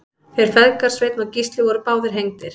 þeir feðgar sveinn og gísli voru báðir hengdir